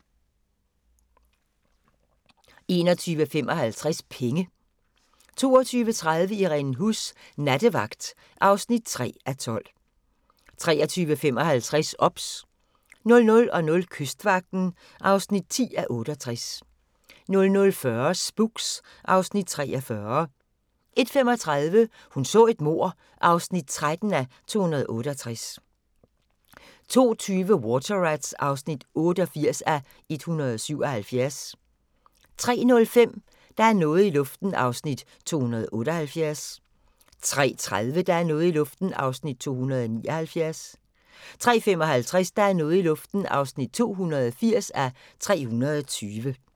21:55: Penge 22:30: Irene Huss: Nattevagt (3:12) 23:55: OBS 00:00: Kystvagten (10:68) 00:40: Spooks (Afs. 43) 01:35: Hun så et mord (13:268) 02:20: Water Rats (88:177) 03:05: Der er noget i luften (278:320) 03:30: Der er noget i luften (279:320) 03:55: Der er noget i luften (280:320)